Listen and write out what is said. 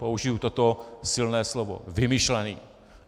Použiji toto silné slovo - vymyšlený!